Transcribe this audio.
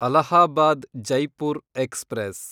Allahabad Jaipur express